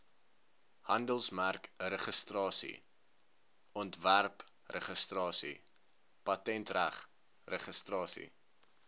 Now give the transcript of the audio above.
handelsmerkregistrasie ontwerpregistrasie patentregistrasie